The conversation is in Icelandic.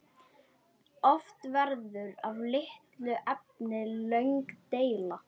Oft verður af litlu efni löng deila.